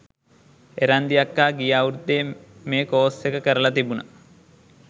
එරන්දි අක්කා ගිය අවුරුද්දෙ මේ කෝස් එක කරල තිබුණ.